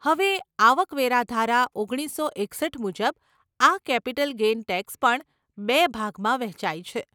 હવે, આવક વેરા ધારા, ઓગણીસસો એકસઠ મુજબ આ કેપિટલ ગેઇન ટેક્સ પણ બે ભાગમાં વહેંચાય છે.